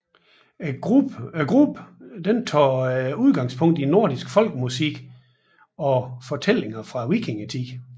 Gruppen tager udgangspunkt i nordisk folkemusik og fortællinger fra vikingetiden